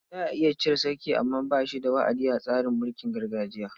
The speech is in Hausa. Za a iya cire sarki amma ba shi da wa'adi a tsarin mulkin gargajiya.